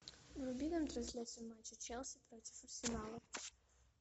вруби нам трансляцию матча челси против арсенала